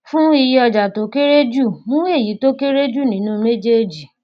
fún iye ọjà tó kéré jù mú èyí tó kéré jù nínú méjèèjì